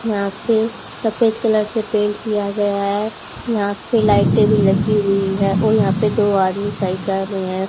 यहां पे सफेद कलर से पेन्ट किया गया है यहां पे लाइटे भी लगी हुई है और यहां पे दो आदमी सही कर रहे हैं।